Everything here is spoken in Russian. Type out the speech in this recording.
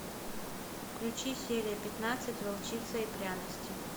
включи серия пятнадцать волчица и пряности